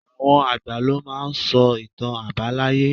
Àwọn àgbà lo máa n sọ ìtàn àbáláyé